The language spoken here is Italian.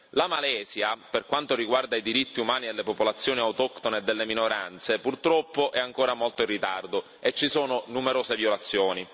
La Malesia, per quanto riguarda i diritti umani delle popolazioni autoctone e delle minoranze, purtroppo è ancora molto in ritardo e ci sono numerose violazioni.